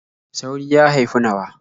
Sauri ya haifi nawa.